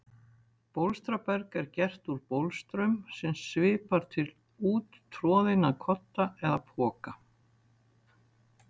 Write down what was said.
Bólstraberg er gert úr bólstrum sem svipar til úttroðinna kodda eða poka.